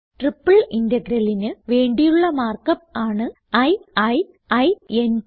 triple integralന് വേണ്ടിയുള്ള mark up ആണ് i i i n T